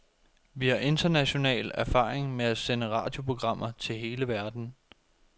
Vi har international erfaring med at sende radioprogrammer til hele verden.